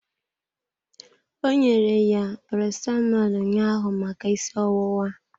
Ọ nyere ya Paracetamọl ụnyaahụ maka ịsị ọwụwa.